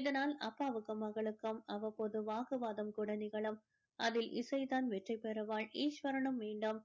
இதனால் அப்பாவுக்கும் மகளுக்கும் அவ்வப்போது வாக்குவாதம் கூட நிகழும் அதில் இசை தான் வெற்றி பெறுவாள் ஈஸ்வரனும் மீண்டும்